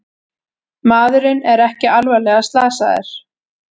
Maðurinn er ekki alvarlega slasaðir